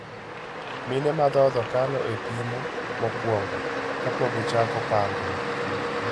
Mine madhodho kalo e pimo mokwongo kapokichako pango no.